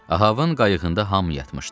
Ahavın qayıqında hamı yatmışdı.